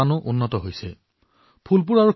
দুখীয়াসকলৰ জীৱনলৈ সমৃদ্ধি কঢ়িয়াই আনিব পাৰে